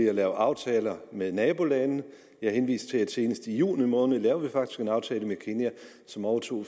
at lave aftaler med nabolande og jeg henviste til at senest i juni måned lavede vi faktisk en aftale med kenya som overtog